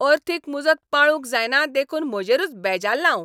अर्थीक मुजत पाळूंक जायना देखून म्हजेरूच बेजाल्लां हांव.